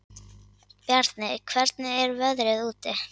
Bjarni, hvernig er veðrið úti?